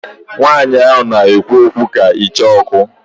Nwanyi a na ekwu okwu ka Icheoku